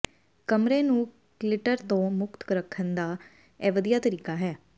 ਕਮਰੇ ਨੂੰ ਕਲਿਟਰ ਤੋਂ ਮੁਕਤ ਰੱਖਣ ਦਾ ਇਹ ਵਧੀਆ ਤਰੀਕਾ ਹੈ